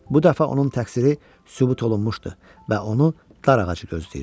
Bu dəfə onun təqsiri sübut olunmuşdu və onu dar ağacı gözləyirdi.